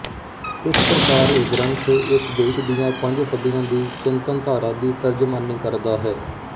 ਇਸ ਪ੍ਰਕਾਰ ਇਹ ਗਰੰਥ ਇਸ ਦੇਸ਼ ਦੀਆਂ ਪੰਜ ਸਦੀਆਂ ਦੀ ਚਿੰਤਨਧਾਰਾ ਦੀ ਤਰਜਮਾਨੀ ਕਰਦਾ ਹੈ